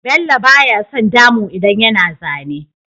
Bello baya son damu idan yana zane